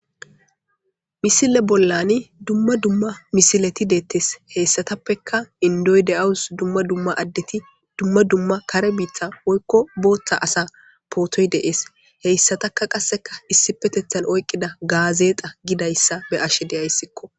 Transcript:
Misile bollan duma duma misileti detees hesatappeka indoyi deawus duma duma adet duma duma kare bitha asa potoyi de'ees hesataka qasi issippetetani oyiqida gazexa gidayisa be'ayisiko